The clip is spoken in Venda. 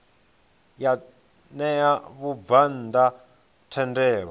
ya ṋea vhabvann ḓa thendelo